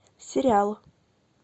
сериал